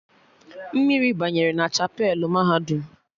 Mmiri banyere na chapelụ mahadum